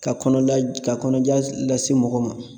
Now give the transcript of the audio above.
Ka kɔnɔja ka kɔnɔja lase mɔgɔ ma